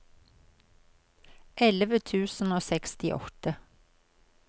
elleve tusen og sekstiåtte